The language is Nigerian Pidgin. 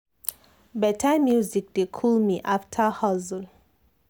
better music dey cool me after hustle.